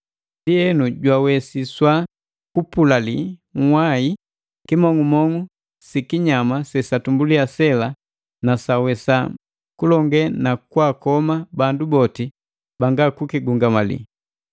Ndienu jwawesiswa kupulali nhwai kimong'umong'u sikinyama sesatumbulia sela na sawesa kulonge na kwaakoma bandu boti banga kukigungamali.